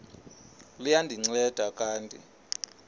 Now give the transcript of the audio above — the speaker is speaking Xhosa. liya ndinceda kanti